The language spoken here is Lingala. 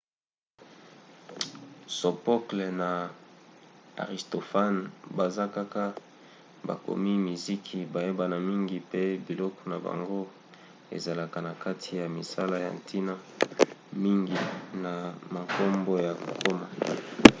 sophocle na aristophane baza kaka bakomi miziki bayebana mingi pe biloko na bango ezalaka na kati ya misala ya ntina mingi na mankombo ya kokoma